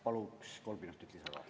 Paluks kolm minutit lisaks ka.